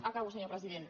acabo senyor president